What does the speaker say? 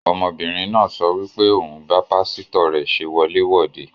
Ọmọbìnrin náà sọ wí pé òun bá pásítọ̀ rẹ̀ ṣe wọlé wòde